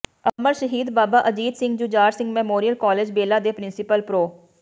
ਅਮਰ Shaheed Baba Ajit Singh Jujhar Singh memorial college Bela ਦੇ principal pro